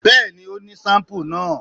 Bẹ́ẹ̀ni ó ní sampúú náà